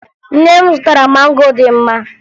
Nne m zụtara mango dị mma